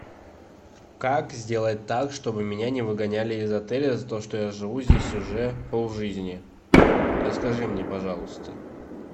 как сделать так чтобы меня не выгоняли из отеля за то что я живу здесь уже полжизни расскажи мне пожалуйста